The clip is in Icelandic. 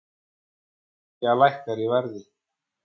Olía lækkar í verði